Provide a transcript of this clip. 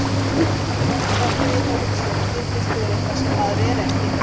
Maður er alltaf að breiða úr sér og þykjast vera eitthvað sem maður er ekki.